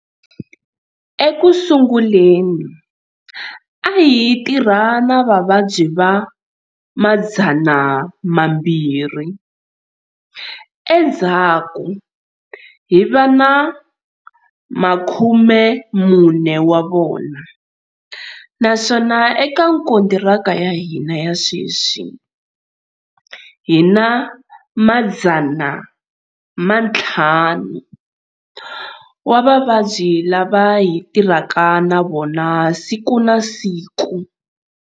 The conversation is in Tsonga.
Eku sunguleni, a hi tirha na vavabyi va 200, endzhaku hi va na 40 wa vona, naswona eka kontiraka ya hina ya sweswi hi na 500 wa vavabyi lava hi tirhaka na vona siku na siku.